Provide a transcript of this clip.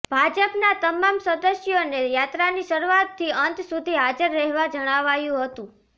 ભાજપના તમામ સદસ્યોને યાત્રાની શરૂઆતથી અંત સુધી હાજર રહેવા જણાવાયું હતું